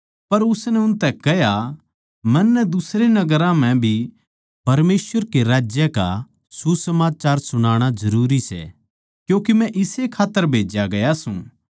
पर उसनै उनतै कह्या मन्नै दुसरे नगरां म्ह भी परमेसवर कै राज्य का सुसमाचार सुणाणा जरूरी सै क्यूँके मै इसे खात्तर भेज्या गया सूं